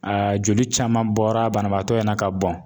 Aa joli caman bɔra banabaatɔ in na ka bɔn